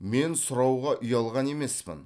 мен сұрауға ұялған емеспін